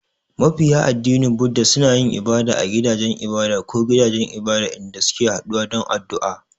Mabiya addinin Buddah suna yin ibada a gidajen ibada ko gidajen ibada, inda suke haɗuwa don addu’a.